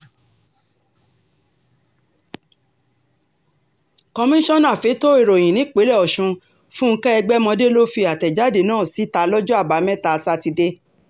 komisanna fẹ̀tọ́ ìròyìn nípìnlẹ̀ ọ̀sùn fúnkẹ́ ẹgbẹ̀mọdé ló fi àtẹ̀jáde náà síta lọ́jọ́ àbámẹ́ta sátidé